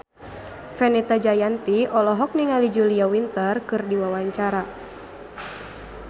Fenita Jayanti olohok ningali Julia Winter keur diwawancara